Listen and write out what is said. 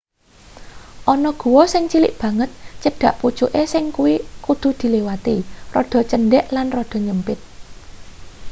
ana guwa sing cilik banget cedhak pucuke sing kudu diliwati rada cendhek lan rada nyepit